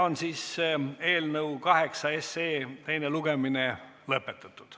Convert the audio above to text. Eelnõu 8 teine lugemine on lõpetatud.